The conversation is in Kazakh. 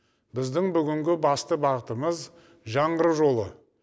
біздің бүгінгі басты бағытымыз жаңғыру жолы